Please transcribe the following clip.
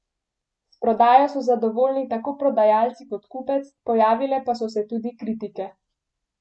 S prodajo so zadovoljni tako prodajalci kot kupec, pojavile pa so se tudi kritike.